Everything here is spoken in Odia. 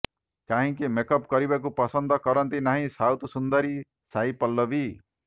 କାହିଁକି ମେକ୍ଅପ୍ କରିବାକୁ ପସନ୍ଦ କରନ୍ତି ନାହିଁ ସାଉଥ୍ ସୁନ୍ଦରୀ ସାଇ ପଲ୍ଲବୀ